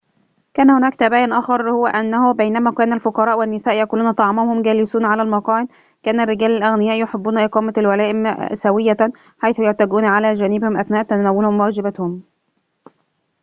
كان هناك تباين آخر هو أنه بينما كان الفقراء والنساء يأكلون طعامهم وهم جالسون على المقاعد كان الرجال الأغنياء يحبون إقامة الولائم سوية حيث يتكئون على جانبهم أثناء تناولهم واجباتهم